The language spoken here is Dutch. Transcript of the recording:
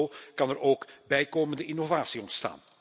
Zo kan er ook bijkomende innovatie ontstaan.